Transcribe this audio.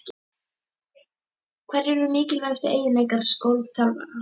Hverjir eru mikilvægustu eiginleikar góðs þjálfara?